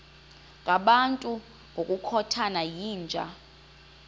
ngabantu ngokukhothana yinja